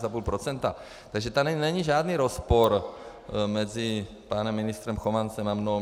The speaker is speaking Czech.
Takže tady není žádný rozpor mezi panem ministrem Chovancem a mnou.